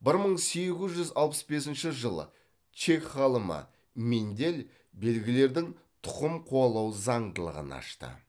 бір мың сегіз жүз алпыс бесінші жылы чех ғалымы мендель белгілердің тұқым қуалау заңдылығын ашты